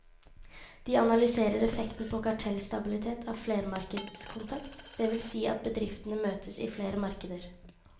De analyserer effekten på kartellstabilitet av flermarkedskontakt, det vil si at bedriftene møtes i flere markeder.